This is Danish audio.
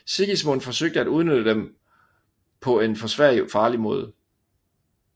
Sigismund forsøgte at udnytte dem på en for Sverige farlig måde